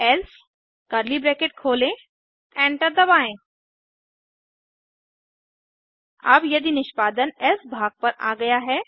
else enter दबाएँ अब यदि निष्पादन एल्से भाग पर आ गया है